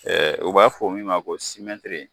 U b'a fɔ min ma ko